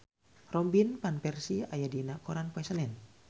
Robin Van Persie aya dina koran poe Senen